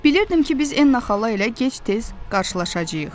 Bilirəm ki, biz Enna xala ilə gec-tez qarşılaşacağıq.